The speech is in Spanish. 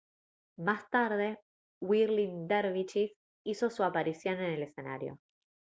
más tarde whirling derviches hizo su aparición en el escenario